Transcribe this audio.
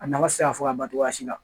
A nafa tɛ se ka fɔ ka ban cogoya si la